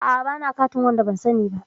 A'a bana catin da waɗanda ban sani ba.